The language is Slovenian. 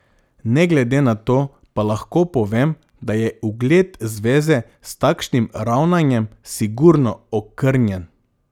Ne glede na to pa lahko povem, da je ugled zveze s takšnim ravnanjem sigurno okrnjen.